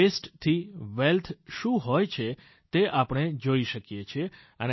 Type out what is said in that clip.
વસ્તે થી વેલ્થ શું હોય છે તે આપણે જોઈ શકીએ છીયે